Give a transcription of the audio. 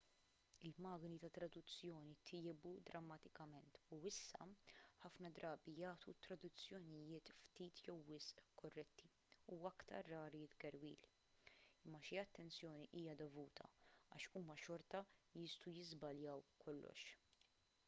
il-magni tat-traduzzjoni tjiebu drammatikament u issa ħafna drabi jagħtu traduzzjonijiet ftit jew wisq korretti u aktar rari tgerwil imma xi attenzjoni hija dovuta għax huma xorta jistgħu jiżbaljaw kollox